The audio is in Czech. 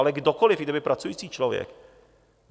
Ale kdokoli, i kdyby pracující člověk.